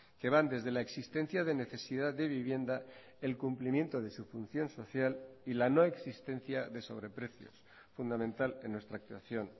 que van desde la existencia de necesidad de vivienda el cumplimiento de su función social y la no existencia de sobre precios fundamental en nuestra actuación